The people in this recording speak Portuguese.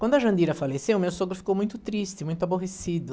Quando a Jandira faleceu, meu sogro ficou muito triste, muito aborrecido.